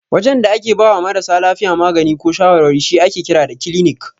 Wajen da ake bawa marasa lafiya magani ko shawarwari shi ake kira da kilinik.